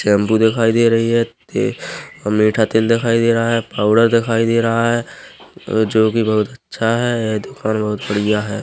Shampoo दिखाई दे रही है टे ह मीठा तेल दिखाई दे रहा है पाउडर दिखाई दे रहा है अ जो कि बहुत अच्छा है ए दुकान बहुत बढ़िया हैं ।